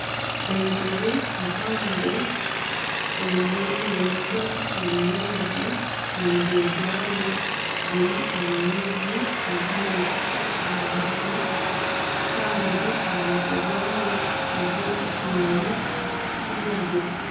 Enjubu mpago eriyo neyoga omu maizi omubiri gwayo guri omu maizi kwonka neyikiza aha mutwe kandi aha mutwe gwayo hariho ekinyonyi kirikwiragura.